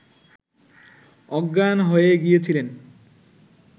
অজ্ঞান হয়ে গিয়েছিলেন